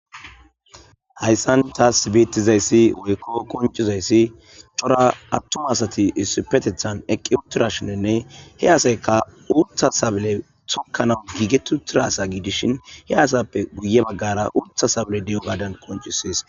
Hayssan taas betizayssi woykko koncizayssi cora attuma asati issupetethan eqqi utirashininne he asayka uutha sabile tokkanau giigetu tiraasa giidishin he asappe guye baggara uutha sabile de'o gaadan koncisees